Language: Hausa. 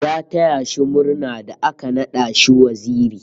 Ya taya shi murna da aka nada shi waziri